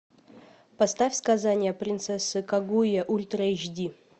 поставь сказание принцессы кагуя ультра эйч ди